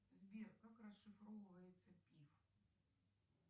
сбер как расшифровывается пиф